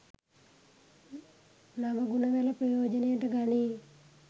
නව ගුණ වැල ප්‍රයෝජනයට ගනී.